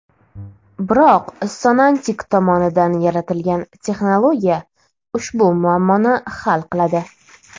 Biroq Sonantic tomonidan yaratilgan texnologiya ushbu muammoni hal qiladi.